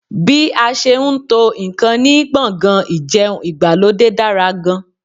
Bí a ṣe n tó ǹkan ní gbọ̀ngàn ìjẹun ìgbàlódé dára gan